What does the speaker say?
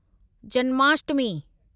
Janmashtami